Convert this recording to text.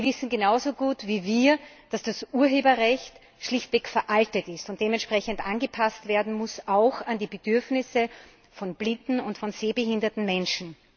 Sie wissen genauso gut wie wir, dass das Urheberrecht schlichtweg veraltet ist und dementsprechend angepasst werden muss, auch an die Bedürfnisse von blinden und von sehbehinderten Menschen.